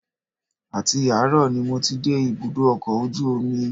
Àti àárọ̀ ni mo ti dé ibùdó ọkọ̀ ojú omi